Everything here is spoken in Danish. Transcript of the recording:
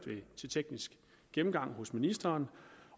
til teknisk gennemgang hos ministeren